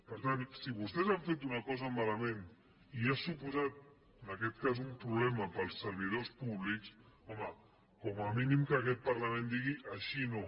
per tant si vostès han fet una cosa malament i ha suposat en aquest cas un problema per als servidors públics home com a mínim que aquest parlament digui així no